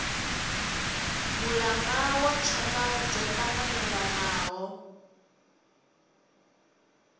mulanga wa tshaka dzo tanganelanaho